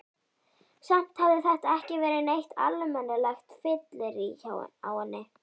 Samt hafði þetta ekki verið neitt almennilegt fyllirí á henni.